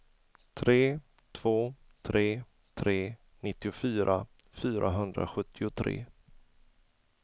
tre två tre tre nittiofyra fyrahundrasjuttiotre